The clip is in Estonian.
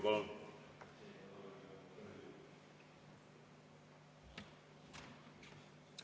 Palun!